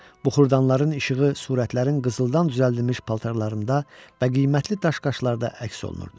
Buxurdanların işığı surətlərin qızıldan düzəldilmiş paltarlarında və qiymətli daş-qaşlarda əks olunurdu.